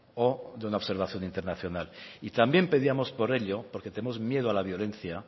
o de una observación internacional y también pedíamos por ello porque tenemos miedo a la violencia